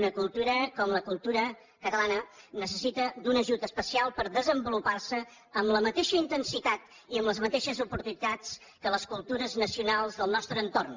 una cultura com la cultura catalana necessita un ajut especial per desenvolupar se amb la mateixa intensitat i amb les mateixes oportunitats que les cultures nacionals del nostre entorn